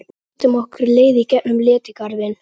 Við styttum okkur leið í gegn um Letigarðinn.